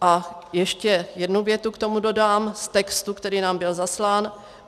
A ještě jednu větu k tomu dodám z textu, který nám byl zaslán.